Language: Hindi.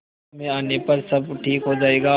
समय आने पर सब ठीक हो जाएगा